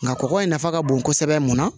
Nka kɔkɔ in nafa ka bon kosɛbɛ mun na